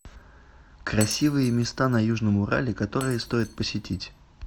красивые места на южном урале которые стоит посетить